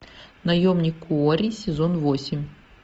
наемник куорри сезон восемь